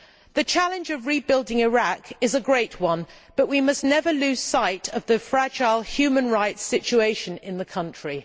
The challenge of rebuilding Iraq is a great one, but we must never lose sight of the fragile human rights situation in the country.